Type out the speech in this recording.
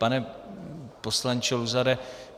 Pane poslanče Luzare.